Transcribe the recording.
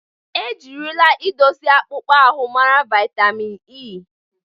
E jirila idozi akpụkpọ ahụ mara vaịtamin E.